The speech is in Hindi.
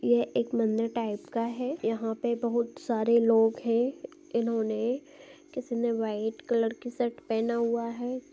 यह एक मंदिर टाइप का है यहाँ पे बहुत सारे लोग है इन्होने किसी ने व्हाइट कलर की शर्ट पेहना हुआ है।